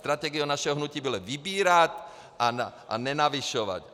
Strategií našeho hnutí bylo vybírat a nenavyšovat.